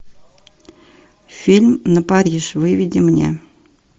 фильм на париж выведи мне